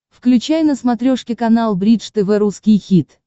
включай на смотрешке канал бридж тв русский хит